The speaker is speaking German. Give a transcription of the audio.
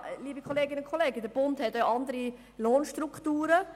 Ja, liebe Kolleginnen und Kollegen, der Bund verfügt über andere Lohnstrukturen.